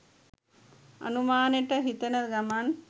අනුමානෙට හිතන ගමන්